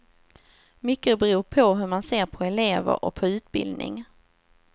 Mycket beror på hur man ser på elever och på utbildning.